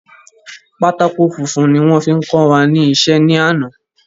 Pátákó funfun ni wón fi kọ wa ní isé ní àná